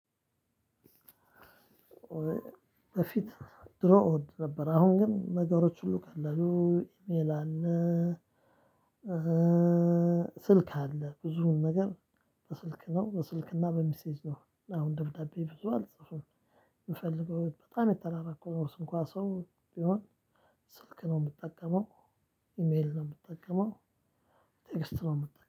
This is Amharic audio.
በፊት ድሮ እወድ ነበር አሁን ግን ነገሮች ሁሉ ቀለሉ ይላል። ስልክ አለ ብዙውን ነገር በስልክ ነው በስልክና በሚሴጅ ነው አሁን ደብዳቤ ብዙ አልጽፍም። የምፈልገው በጣም የተራራቅነው ሰው እንኳን ሰው ቢሆን ስልክ ነው የምጠቀመው። ኢሜል ነው የምጠቀመው። ቴክስት ነው የምጠቀመው